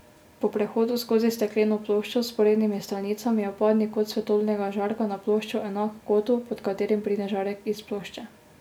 Po prehodu skozi stekleno ploščo z vzporednimi stranicami je vpadni kot svetlobnega žarka na ploščo enak kotu, pod katerim pride žarek iz plošče.